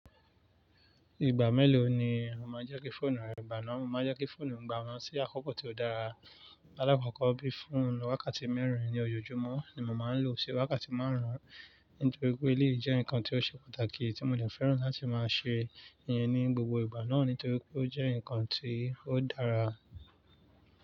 Ìgbà mélòó ni o máa ń já kí fóònù rẹ gbaná? Mo máa ń já kí fóònù mi gbaná sí àkókò tí ó dára. Àlàákókó bí i fún wákàtí mẹ́rin ní ojoojúmọ́ ni mo máa ń lò ó, sì wákàtí márùn-ún nítorí pé èléyìí jẹ́ ǹkan tí ó ṣe pàtàkì tí mo de fẹ́ràn láti máa ṣe ìyẹn ní gbogbo ìgbà náà nítorí pé ó jẹ́ ǹkan tí ó dára.